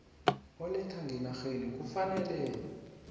oletha ngenarheni kufanele